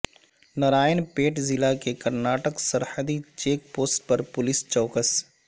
نارائن پیٹ ضلع کے کرناٹک سرحدی چیک پوسٹ پر پولیس چوکس